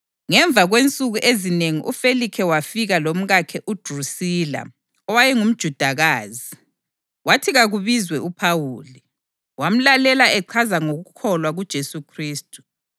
Ngemva kwensuku ezinengi uFelikhe wafika lomkakhe uDrusila owaye ngumJudakazi. Wathi kakubizwe uPhawuli, wamlalela echaza ngokukholwa kuJesu Khristu.